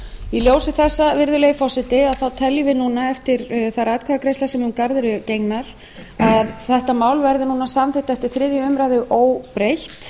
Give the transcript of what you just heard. í ljósi þessa virðulegi forseti teljum við núna eftir þær atkvæðagreiðslur sem um garð eru gengnar að þetta mál verði núna samþykkt eftir þriðju umræðu óbreytt